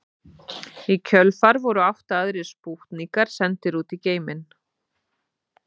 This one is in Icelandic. Í kjölfarið voru átta aðrir spútnikar sendir út í geiminn.